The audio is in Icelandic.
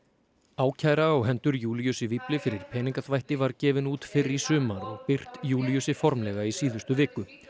ákæra á hendur Júlíusi fyrir peningaþvætti var gefin út fyrr í sumar og birt Júlíusi formlega í síðustu viku